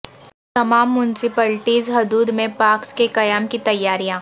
تمام میونسپلٹیز حدود میں پارکس کے قیام کی تیاریاں